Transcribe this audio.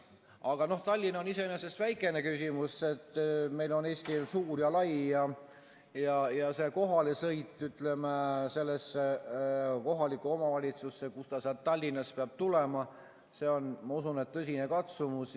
Aga Tallinn on iseenesest väikene küsimus, meil on Eesti suur ja lai, ja see kohalesõit kohalikku omavalitsusse, kuhu saadik sealt Tallinnast peab tulema, see on, ma usun, tõsine katsumus.